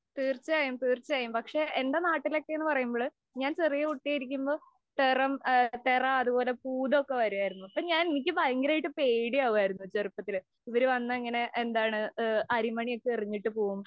തീര്‍ച്ചയായും, തീര്‍ച്ചയായും. എന്‍റെ നാട്ടിലൊക്കെ എന്ന് പറയുമ്പോള്‍ ഞാന്‍ ചെറിയ കുട്ടിയായിരിക്കുമ്പോള്‍ തെറം-തെറ, അതുപോലെ പൂതമൊക്കെ വരുമായിരുന്നു. അപ്പം ഞാന്‍ എനിക്ക് ഭയങ്കരമായിട്ട് പേടിയാകുമായിരുന്നു ചെറുപ്പത്തിലേ. ഇവര് വന്നിട്ട് എന്താണ് അരിമണിയൊക്കെ എറിഞ്ഞിട്ടു പോവും.